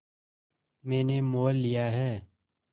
मैंने मोल लिया है